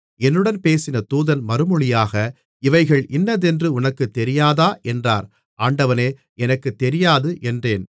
என்னுடன் பேசின தூதன் மறுமொழியாக இவைகள் இன்னதென்று உனக்குத் தெரியாதா என்றார் ஆண்டவனே எனக்குத் தெரியாது என்றேன்